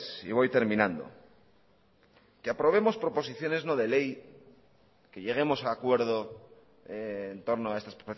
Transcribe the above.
y voy terminando que aprobemos proposiciones no de ley que lleguemos a acuerdo en torno a estas